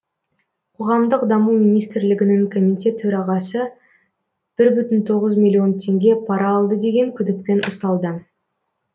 қоғамдық даму министрлігінің комитет төрағасы бір бүтін тоғыз миллион теңге пара алды деген күдікпен ұсталды